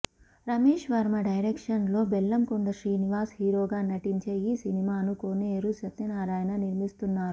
Ramesh Varma direction లో బెల్లంకొండ శ్రీనివాస్ హీరోగా నటించే ఈ సినిమాను కోనేరు సత్యనారాయణ నిర్మిస్తున్నారు